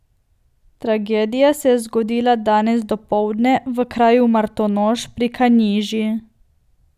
Tragedija se je zgodila danes dopoldne v kraju Martonoš pri Kanjiži.